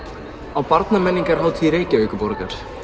á Reykjavíkurborgar